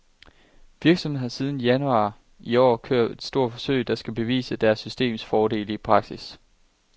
Virksomheden har siden januar i år kørt et stort forsøg, der skal bevise deres systems fordele i praksis.